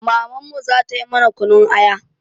Mamanmu za ta yi mana kunun aya.